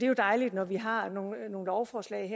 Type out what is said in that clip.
jo dejligt når vi har nogle lovforslag